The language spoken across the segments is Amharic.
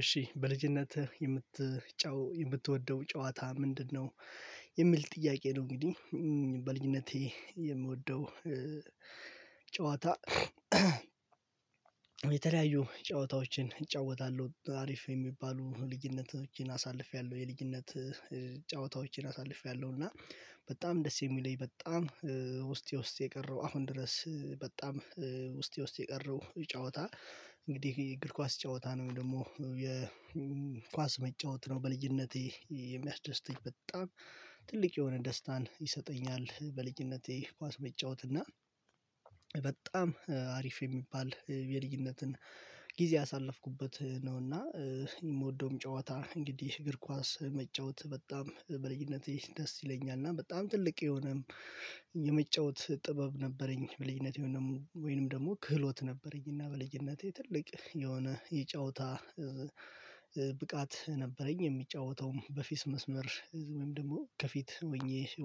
እሺ በልጅነትህ የምትጫው የምትወደው ጨዋታ ምንድነው የሚል ጥያቄ ነው? እንግዲህ በልጅነቴ የምወደው ጨዋታ የተለያዩ ጨዋታዎችን እጫወታለሁ አሪፍ የሚባሉ ልጅነት አሳልፌያለሁ። የልጅነት ጨዋታዎችን አሳልፌያለሁ። እና በጣም ደስ የሚለኝ በጣም ውስጤ ውስጤ የቀረው አሁን ድረስ በጣም ውስጤ ውስጤ የቀረው ጨዋታ እንግዲህ እግር ኳስ ጨዋታ ነው። ደግሞ የኳስ መጫወት ነው በልጅነቴ የሚያስደስተኝ በጣም ትልቅ የሆነ ደስታን ይሰጠኛል በልጅነቴ ኳስ መጫወት እና በጣም አሪፍ የሚባል የልጅነትን ጊዜ ያሳለፍኩበት ነው። እና የምወደውም ጨዋታ እንግዲህ እግር ኳስ መጫወት በጣም በልጅነቴ ደስ ይለኛል። እና በጣም ትልቅ የሆነም የመጫወት ጥበብ ነበረኝ በልጅነቴ ወይንም ደግሞ ክህሎት ነበረኝ። እና በልጅነቴ ትልቅ የሆነ የጨዋታ ብቃት ነበረኝ የምጫወተውም በፌስ መስመር ወይም ደግሞ ከፊት ሆኜ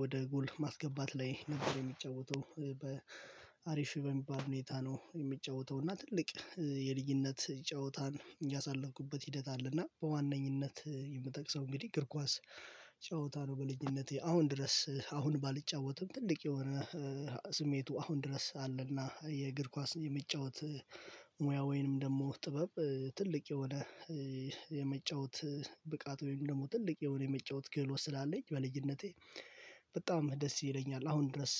ወደ ጎል ማስገባት ላይ ነበር የምጫወተው በአሪፍ በሚባል ሁኔታ ነው። የሚጫወተው እና ትልቅ የልዩነት ጨዋታን ያሳለፍኩበት ሂደት አለና በዋነኝነት የምትጠቅሰው እንግዲህ እግር ኳስ ጨዋታ ነው። በልጅነቴ አሁን ድረስ አሁን ባልጫወትም ትልቅ የሆነ ስሜቱ አሁን ድረስ አለና የእግር ኳስ የመጫወት ሙያ ወይንም ደግሞ ጥበብ ትልቅ የሆነ የመጫወት ብቃት ወይም ደግሞ ትልቅ የሆነ የመጫወት ክህሎት ስላለኝ በልጅነቴ በጣም ደስ ይለኛል። አሁን ድረስ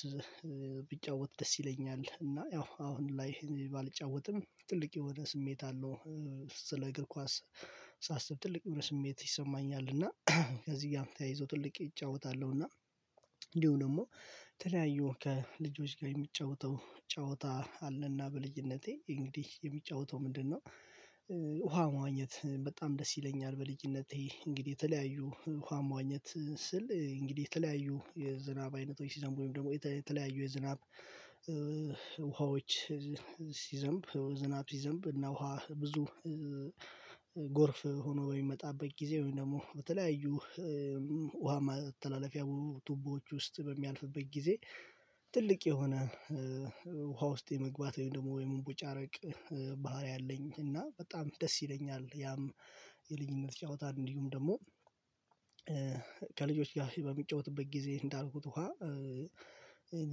ቢጫወት ደስ ይለኛል እና ያው አሁን ላይ ባልጫወትም ትልቅ የሆነ ስሜት አለው ስለ እግር ኳስ ሳስብ ትልቅ የሆነ ስሜት ይሰማኛል። እና ከዚህ ጋር ተያይዞ ትልቅ እጫወታለሁ እና እንዲሁም ደግሞ ተለያዩ ከልጆች ጋር የምጫወተው ጨዋታ አለና። በልጅነቴ እንግዲህ የሚጫወተው ምንድነው? ውሃ መዋኘት በጣም ደስ ይለኛል። በልጅነቴ እንግዲህ የተለያዩ ውሃ መዋኘት ስል እንግዲህ የተለያዩ የዝናብ አይነቶች ሲዘምቡ ወይም ደግሞ የተለያዩ የዝናብ ውሃዎች ሲዘምብ ዝናብ ሲዘምብ እና ውሃ ብዙ ጎርፍ ሆኖ የሚመጣበት ጊዜ ወይም ደግሞ በተለያዩ ውሃ ማተላለፊያ ቱቦዎች ውስጥ በሚያልፍበት ጊዜ ትልቅ የሆነ ውሃ ውስጥ የመግባት ወይም ደግሞ ወይም የመቦጫረቅ ባህሪ አለኝ እና በጣም ደስ ይለኛል። ያም የልጅኝነት ጨዋታ እንዲሁም ደግሞ ከልጆች ጋር በምጫወትበት ጊዜ እንዳልኩት ውሃ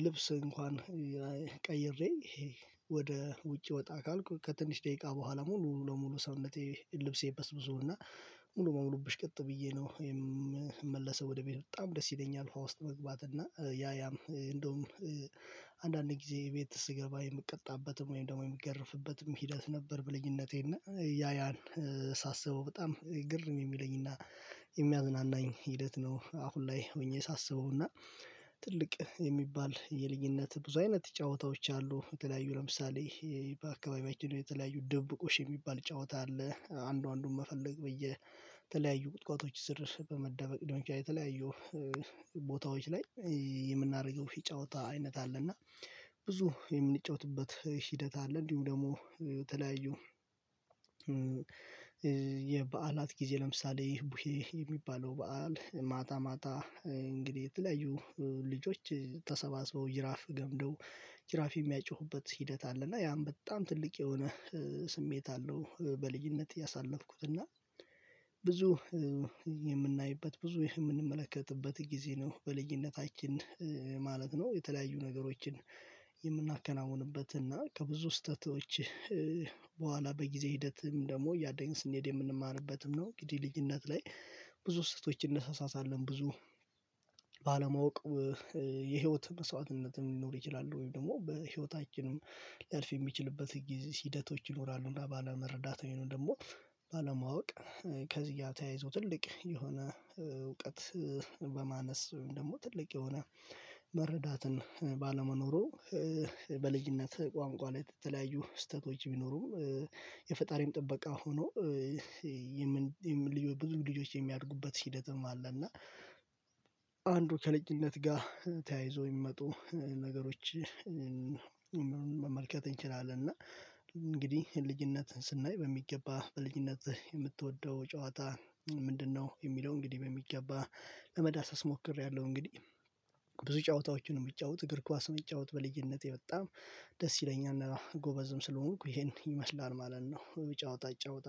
ልብስ እንኳን ቀይሬ ይሄ ወደ ውጭ ወጣ ካልኩ ከትንሽ ደቂቃ በኋላ ሙሉ ለሙሉ ሰውነቴ ልብሴ በስብሶ እና ሙሉ በሙሉ ብሽቅጥ ብዬ ነው የምመለሰው ወደ ቤት በጣም ደስ ይለኛል። ውሃ ውስጥ መግባት እና ያ ያም እንደውም አንዳንድ ጊዜ ቤት ስገባ የምቀጣበትም ወይም ደግሞ የምገርፍበትም ሂደት ነበር በልኝነቴ እና ያ ያን ሳስበው በጣም ግርም የሚለኝና የሚያዝናናኝ ሂደት ነው። አሁን ላይ ሆኜ ሳስበው እና ትልቅ የሚባል የልጅነት ብዙ አይነት ጨዋታዎች አሉ የተለያዩ ለምሳሌ በአካባቢያችን የተለያዩ ድብብቆሽ የሚባል ጨዋታ አለ አንዱ አንዱን መፈለግ ብዬ የተለያዩ ቁጥቋጦች ስር በመደበቅ ደንፊያ የተለያየው ቦታዎች ላይ የምናደርገው የጫወታ አይነት አለ። እና ብዙ የምንጫወትበት ሂደት አለ። እንዲሁም ደግሞ የተለያዩ የበዓላት ጊዜ ለምሳሌ ቡሄ የሚባለው በዓል ማታ ማታ እንግዲህ የተለያዩ ልጆች ተሰባስበው ጅራፍ ገምደው ጅራፍ የሚያጮሁበት ሂደት አለ እና ያም በጣም ትልቅ የሆነ ስሜት አለው በልጅነት ያሳለፍኩት እና ብዙ የምናይበት ብዙ የምንመለከትበት ጊዜ ነው። በልጅነታችን ማለት ነው የተለያዩ ነገሮችን የምናከናውንበት እና ከብዙ ስህተቶች በኋላ በጊዜ ሂደትም ደግሞ እያደግን ስንሄድ የምንማርበትም ነው። እንግዲ ልጅነት ላይ ብዙ ስህተቶችን እንሳሳታለን ብዙ ባለማወቅ የህይወት መስዋዕትነትም ሊኖር ይችላል። ወይም ደግሞ በህይወታችንም ሊያልፍ የሚችልበት ሂደቶች ይኖራሉ። እና ባለመረዳት ወይንም ደግሞ ባለማወቅ ከዚህ ጋር ተያይዞ ትልቅ የሆነ እውቀት በማነስ ወይም ደግሞ ትልቅ የሆነ መረዳትን ባለመኖሩ በልጅነት ቋንቋ ላይ የተለያዩ ስህተቶች ቢኖሩም የፈጣሪም ጥበቃ ሆኖ የምን ልጆች ብዙ ልጆች የሚያድጉበት ሂደትም አለ። እና አንዱ ከለጭነት ጋር ተያይዞ የሚመጡ ነገሮች መመልከት እንችላለን። እና እንግዲህ ልጅነትን ስናይ በሚገባ በልጅነት የምትወደው ጨዋታ ምንድነው? የሚለው እንግዲህ በሚገባ ለመዳሰስ ሞክሬያለሁ። እንግዲህ ብዙ ጨዋታዎችን ነው የምጫወት እግር ኳስ የምጫወት በልጅነቴ በጣም ደስ ይለኛል ጎበዝም ስለሆንኩ ይሄን ይመስላል ማለት ነው። ብዙ ጫወታ እይጫወት